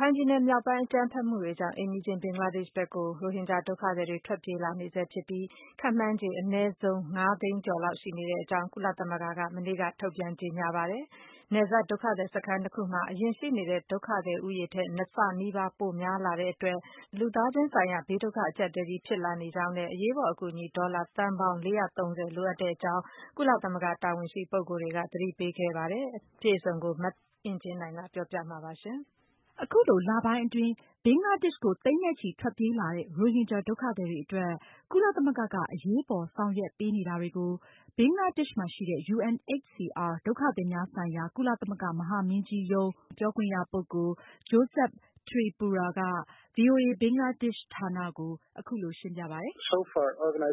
ခိုင်ပြည်နယ်မြောက်ပိုင်း အကြမ်းဖက်မှုတွေကြောင့် အိမ်နီးချင်း ဘင်္ဂလားဒေ့ရှ်ဘက်ကို အခုချိန်ထိ ရိုဟင်ဂျာဒုက္ခသည်တွေ ထွက်ပြေးလာနေဆဲဖြစ်ပြီး ခန့်မှန်းချေ အနည်းဆုံး လူဦးရေ ၅၀၀,၀၀၀ ကျော်လောက်ရှိနေကြောင်း ကုလသမဂ္ဂက မနေ့ က ထုတ်ပြန်ကြေညာပါတယ်။ နယ်စပ် ဒုက္ခသည်စခန်း ၂ခုမှာ အရင်ရှိနေတဲ့ ဒုက္ခသည်ဦးရေထက် ၂ ဆနီးပါး ပိုပြီးများပြားလာတဲ့ အတွက် လူသားချင်းဆိုင်ရာ ဘေးဒုက္ခအကျပ်အတည်းကြီး ဖြစ်လာနေကြောင်းနဲ့ အရေးပေါ်အကူ အညီ ဒေါ်လာသန်းပေါင်း ၄၃၀ လိုအပ်နေကြောင်း ကုလသမဂ္ဂ တာဝန်ရှိပုဂ္ဂိုလ်တွေက သတိပေးပြောကြားခဲ့ပါတယ်။ မအင်ကြင်းနိုင်က အပြည့်အစုံကို တင်ပြမှာပါ။ အခုလို လပိုင်းအတွင်း ဘင်္ဂလားဒေ့ရှ်ကို သိန်းနဲ့ချီ ထွက်ပြေးလာတဲ့ ရိုဟင်ဂျာဒုက္ခသည်တွေအတွက် ကုလသမဂ္ဂက အရေးပေါ်ဆောင်ရွက်ပေးနေတာတွေကို ဘင်္ဂလားဒေ့ရှ်မှာရှိတဲ့ UNHCR ဒုက္ခသည်များဆိုင်ရာ ကုလသမဂ္ဂမဟာမင်းကြီးရုံး ပြောခွင့်ရပုဂ္ဂိုလ် Joseph Tripura က ဗွီအိုအေ ဘင်္ဂလားဒေ့ရှ်ဌာနကို အခုလိုရှင်းပြပါတယ်။ "စားနပ်ရိက္ခာနဲ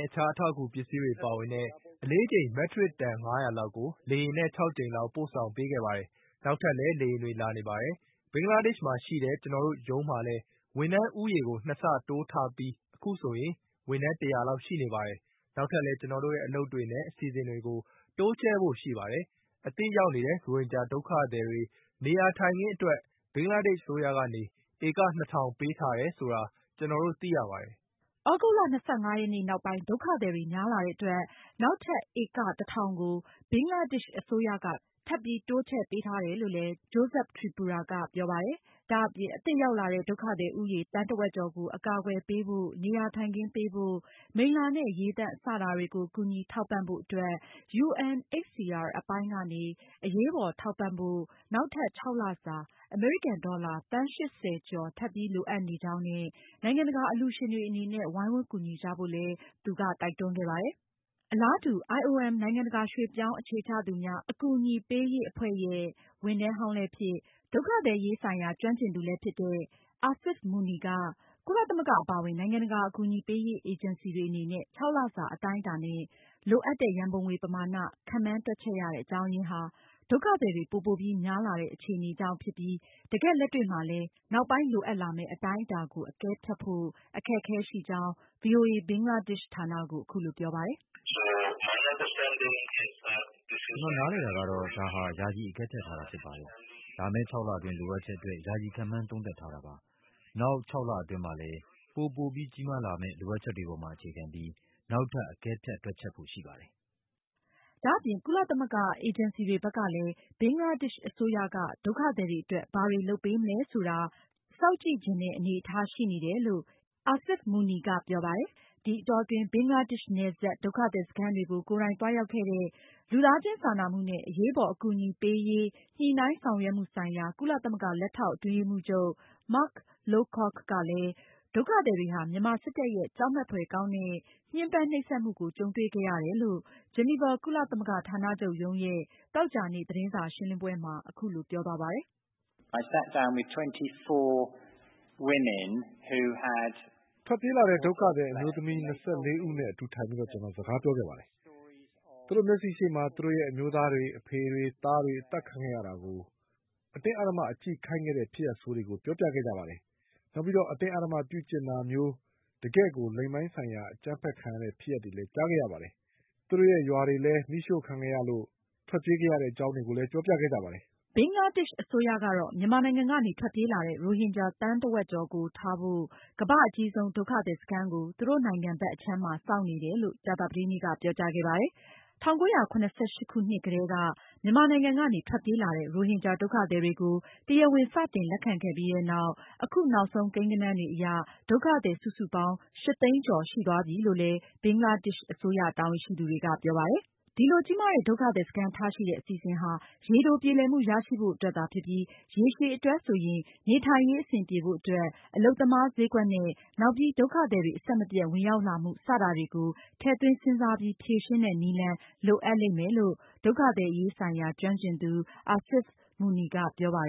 ့ အခြားအထောက်အကူပစ္စည်းတွေပါဝင်တဲ့ အလေးချိန် မက်ထရစ်တန် ၅၀၀ လောက်ကို လေယာဉ်နဲ့ ၆ ကြိမ်လောက် ပို့ဆောင်ပေးခဲ့ပါတယ်။ နောက်ထပ်လည်း လေယာဉ်တွေ လာနေပါတယ်။ ဘင်္ဂလားဒေ့ရှ်မှာရှိတဲ့ ကျနော်တို့ရုံးမှာလည်း ဝန်ထမ်းဦးရေ ကို ၂ ဆတိုးမြှင့်ထားပြီး အခုဆိုရင် ၁၀၀ လောက်ရှိနေပါတယ်။ နောက်ထပ်လည်း ကျနော်တို့ရဲ့ အလုပ်တွေနဲ့ အစီအစဉ်တွေကို တိုးချဲ့ ဖို့ရှိပါတယ်။ အသစ်ရောက်လာတဲ့ ရိုဟင်ဂျာဒုက္ခသည်တွေ နေရာထိုင်ခင်းအတွက် ဘင်္ဂလားဒေ့ရှ်အစိုးရကနေ ဧက ၂၀၀၀ ပေးထားတယ်ဆိုတာ ကျနော်တို့သိပါတယ်။" ဒုက္ခသည်တွေများလာတဲ့အတွက် နောက်ထပ် ဧက ၁၀၀၀ ကို ဘင်္ဂလားဒေ့ရှ်အစိုးရက ထပ်ပြီး တိုးချဲ့ပေးထားတယ်လို့ သိရကြောင်း Joseph Tripura ကပြောပါတယ်။ ဒါအပြင် အသစ်ရောက်လာတဲ့ ဒုက္ခသည်ဦးရေ သန်းတဝက်ကျော်ကို အကာအကွယ်ပေးဖို့၊ နေရာထိုင်ခင်းပေးဖို့၊ မိလ္လာနဲ့ ရေသန့် စတာတွေကို ကူညီထောက်ပံဖို့အတွက် UNHCR အပိုင်းကနေ အရေးပေါ်ထောက်ပံဖို့ နောက်ထပ် ၆လစာ အမေရိကန်ဒေါ်လာ သန်း ၈၀ ကျော်ထပ်ပြီလိုအပ်နေကြောင်းနဲ့ နိုင်ငံတကာအလှုရှင်တွေအနေနဲ့ ဝိုင်းဝန်းကူညီဖို့လည်း Joseph Tripura ကတိုက်တွန်းခဲ့ပါတယ်။ အလားတူ IOMနိုင်ငံတကာရွှေ့ပြောင်းအခြေချသူများ အကူအညီပေးရေး အဖွဲ့ဝန်ထမ်းဟောင်းလည်းဖြစ် ဒုက္ခသည်အရေးဆိုင်ရာ ကျွမ်းကျင်သူလည်းဖြစ်တဲ့ Asif Munir က ကုလသမဂ္ဂအပါအဝင် နိုင်ငံတကာ အကူအညီပေးရေး အေဂျင်စီတွေအနေနဲ့ ၆ လစာ အတိုင်းအတာနဲ့ လိုအပ်တဲ့ ရံပုံငွေပမာဏ ခန့်မှန်းတွက်ချက် ရတဲ့ အကြောင်းအရင်းဟာ ဒုက္ခသည်တွေ ပိုပိုပြီးများလာတဲ့ အခြေအနေကြောင့်ဖြစ်ပြီး တကယ့်လက်တွေ့မှာလည်း နောက်ပိုင်း လိုအပ်လာမယ့် အတိုင်းအတာကို အကဲဖြတ်ဖို့ အခက်အခဲရှိကြောင်း ဗွီအိုအေ ဘင်္ဂလားဒေ့ရှ်ဌာနကို အခုလိုပြောပါတယ်။ "ကျနော်နားလည်တာကတော့ ယာယီအကဲဖြတ်ထားတာဖြစ်ပါတယ်။ လာမယ့် ခြောက်လအတွင်းလိုအပ်ချက်အတွက် ယာယီခန့်မှန်းသုံးသပ်ထားတာပါ။ နောက်ခြောက်လအတွင်း ပိုပိုပြီးကြီးမားလာမယ့် နောက်ပိုင်း လိုအပ်ချက်တွေပေါ်မှာ အခြေခံပြီး နောက်ထပ် အကဲဖြတ်တွက်ချက်ဖို့ရှိပါတယ်။" ဒါအပြင် ကုလသမဂ္ဂအေဂျင်စီတွေဘက်ကလည်း ဘင်္ဂလားဒေ့ရှ်အစိုးရက ဒုက္ခသည်တွေအတွက် ဘာတွေလုပ်ပေးမလဲဆိုတာလည်း စောင့်ကြည့်ချင်တဲ့အနေအထားရှိနေတယ်လို့ Asif Munir ကပြောပါတယ်။ ဒီအတောအတွင်း ဘင်္ဂလားဒေ့ရှ်နယ်စပ် ဒုက္ခသည်စခန်းတွေကို ကိုယ်တိုင်သွားရောက်ခဲ့တဲ့ လူသားချင်းစာနာမှုနဲ့ အရေးပေါ် အကူအညီပေးရေး ညှိနှိုင်းဆောင်ရွက်မှုဆိုင်ရာ ကုလသမဂ္ဂ လက်ထောက် အတွင်းရေးမှူးချုပ် Mark Lowcock ကလည်း ဒုက္ခသည်တွေဟာ မြန်မာစစ်တပ်ရဲ့ ကြောက်မက်ဖွယ်ကောင်းတဲ့ ညှမ်းပန်းနှိပ်စက်မှုကို ကြုံတွေ့ခဲ့ရတယ်လို့ ဂျီနီဗာ ကုလသမဂ္ဂဌာနချုပ်ရုံးရဲ့ သောကြာနေ့ သတင်းစာရှင်းလင်းပွဲမှာ အခုလိုပြောသွားပါတယ်။ "ထွက်ပြေးလာတဲ့ ဒုက္ခသည် အမျိုးသမီး ၂၄ ဦးနဲ့ အတူထိုင်ပြီး ကျနော်စကားပြောခဲ့ပါတယ်။ သူတို့မျက်စိရှေ့မှာ သူတို့ရဲ့ အမျိုးသားတွေ၊ အဖေတွေ၊ သားတွေ အသတ်ခံရတာကို အတင်းအဓမ္မ ကြည့်ခိုင်းတဲ့ ဖြစ်ရပ်ဆိုးတွေကို ပြောပြခဲ့ကြပါတယ်။ နောက် အတင်းအဓမ္မပြုကျင့်တာ မျိုး တကယ့်ကို လိင်ပိုင်းဆိုင်ရာ အကြမ်းဖက်ခံရတဲ့ ဖြစ်ရပ်တွေလည်း ကြားခဲ့ရပါတယ်။ ဒါအပြင် သူတို့ရဲ့ ရွာတွေလည်း မီးရှို့ခံရတဲ့အတွက်ကြောင့် ထွက်ပြေးခဲ့ရတဲ့ ဖြစ်ရပ်တွေလည်း ပြောပြခဲ့ကြပါတယ်။" ဘင်္ဂလားဒေ့ရှ်အစိုးရကတော့ မြန်မာနိုင်ငံကနေ ထွက်ပြေးလာတဲ့ ရိုဟင်ဂျာ သန်းဝက်ကျော်ကိုထားဖို့ ကမ္ဘာ့အကြီးဆုံး ဒုက္ခသည်စခန်းကို သူတို့နိုင်ငံဘက်အခြမ်းမှာ ဆောက်နေတယ်လို့ ကြာသာပတေးနေ့က ပြောကြားခဲ့ပါတယ်။ ၁၉၇၈ ခုနှစ်ကတည်းက မြန်မာနိုင်ငံကနေ ထွက်ပြေးလာတဲ့ ရိုဟင်ဂျာ ဒုက္ခသည်တွေကို တရားဝင် စတင်လက်ခံခဲ့ပြီးနောက် အခုနောက်ဆုံးကိန်းကဏန်းတွေအရ ဒုက္ခသည် စုစုပေါင်း ၈၀၀,၀၀၀ ကျော်ရှိသွားပြီလို့လည်း ဘင်္ဂလားဒေ့ရှ်အစိုးရတာဝန်ရှိသူတွေကပြောပါတယ်။ ဒီလို ကြီးမားတဲ့ ဒုက္ခသည်စခန်းထားရှိတဲ့ အစီအစဉ်ဟာ ရေတိုပြေလည်မှုရရှိဖို့အတွက်သာဖြစ်ပြီး ရေရှည်အတွက်ဆိုရင် နေထိုင်ရေး အဆင်ပြေဖို့အတွက်၊ အလုပ်သမားဈေးကွက်နဲ့ နောက်ပြီး ဒုက္ခသည်တွေ အဆက်မပြတ် ဝင်ရောက်လာမှု စတာတွေကို ထည့်သွင်းစဉ်းစားပြီး ဖြေရှင်းတဲ့နည်းလမ်း လိုအပ်လိမ့်မယ်လို့ ဒုက္ခသည်အရေးဆိုင်ရာ ကျွမ်းကျင်သူ Asif Munir ကပြောပါတယ်